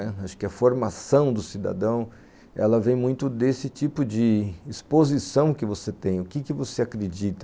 Acho que a formação do cidadão, ela vem muito desse tipo de exposição que você tem, o que você acredita.